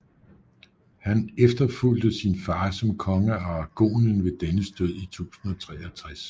Han efterfulgte sin far som konge af Aragonien ved dennes død i 1063